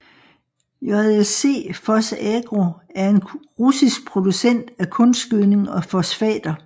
JSC PhosAgro er en russisk producent af kunstgødning og fosfater